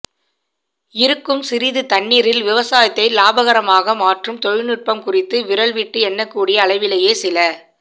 இருக்கும் சிறிது தண்ணீரில் விவசாயத்தை லாபகரமாக மாற்றும் தொழில்நுட்பம் குறித்து விரல் விட்டு எண்ணக்கூடிய அளவிலேயே சில